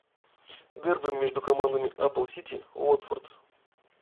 дерби между командами апл сити уотфорд